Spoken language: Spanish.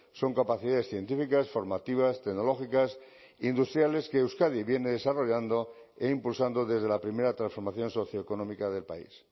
son capacidades científicas formativas tecnológicas industriales que euskadi viene desarrollando e impulsando desde la primera transformación socioeconómica del país